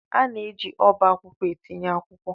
A na-eji ọba akwụkwọ etinye akwụkwọ.